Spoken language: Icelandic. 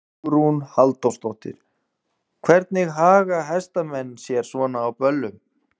Hugrún Halldórsdóttir: Hvernig haga hestamenn sér svona á böllum?